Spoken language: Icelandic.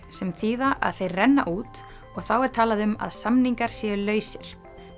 sem þýðir að þeir renna út og þá er talað um að samningar séu lausir